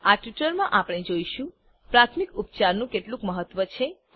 આ ટ્યુટોરીયલમાં આપણે જોઈશું પ્રાથમિક ઉપચારનું કેટલું મહત્વ છે